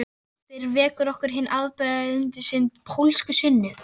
Daginn eftir vekur okkur hin hefðbundna pólska sunnu